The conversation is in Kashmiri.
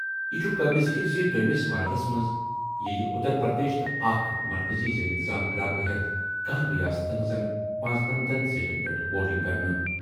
یہِ چھُ قٲبلِ ذِکر زِ دوٚیمِس مرحلَس منٛز یِیہِ اتر پردیش تہٕ اکھ مرکزی زیر انتظام علاقہٕ ہٮ۪تھ 11 ہن ریاستن ہٕنٛزن 95 سیٹن پٮ۪ٹھ ووٹنگ کرنہٕ۔